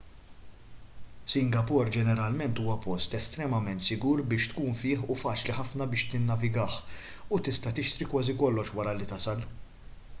singapore ġeneralment huwa post estremament sigur biex tkun fih u faċli ħafna biex tinnavigah u tista' tixtri kważi kollox wara li tasal